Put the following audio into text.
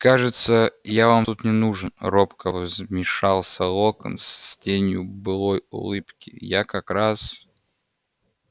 кажется я вам тут не нужен робко вмешался локонс с тенью былой улыбки я как раз